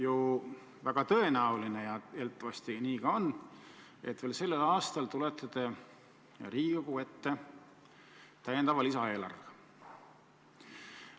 On väga tõenäoline ja eeldatavasti nii ka läheb, et veel sellel aastal tulete te Riigikogu ette täiendava lisaeelarvega.